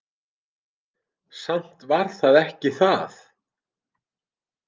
Samt var það ekki það.